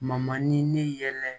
ne yɛlɛ